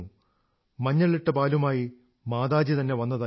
മഞ്ഞളിട്ട പാലുമായി മാതാജി തന്നെ വന്നതായിരുന്നു